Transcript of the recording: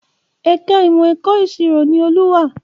Ẹ̀ka ìmọ̀ ẹ̀kọ́ ìṣirò ni Olú wà